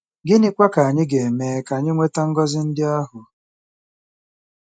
Gịnịkwa ka anyị ga-eme ka anyị nweta ngọzi ndị ahụ?